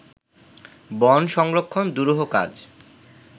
বন সংরক্ষণ দুরূহ কাজ